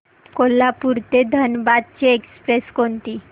कोल्हापूर ते धनबाद ची एक्स्प्रेस कोणती